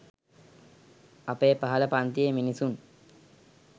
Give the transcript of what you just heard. අපේ පහළ පන්තියේ මිනිසුන්.